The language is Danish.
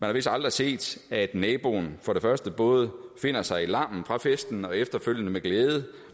har vist aldrig set at naboen både finder sig i larmen fra festen og efterfølgende med glæde